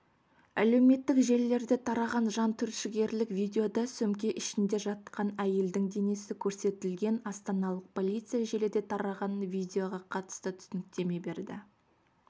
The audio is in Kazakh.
әлеуметтік желілерде тараған жантүршігерлік видеода сөмке ішінде жатқан әйелдің денесі көрсетілген астаналық полиция желіде тараған видеоға қатысты түсініктеме берді